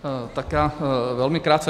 Tak já velmi krátce.